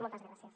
moltes gràcies